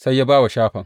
Sai ya ba wa Shafan.